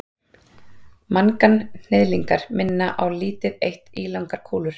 Manganhnyðlingar minna á lítið eitt ílangar kúlur.